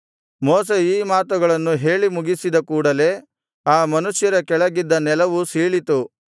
ಮೋಶೆ ಈ ಮಾತುಗಳನ್ನು ಹೇಳಿ ಮುಗಿಸಿದ ಕೂಡಲೆ ಆ ಮನುಷ್ಯರ ಕೆಳಗಿದ್ದ ನೆಲವು ಸೀಳಿತು